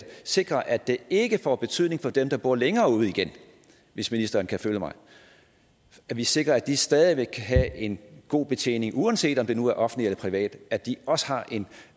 sikre at det ikke får betydning for dem der bor længere ude igen hvis ministeren kan følge mig at vi sikrer at de stadig væk kan have en god betjening uanset om det nu er offentlig eller privat at de også har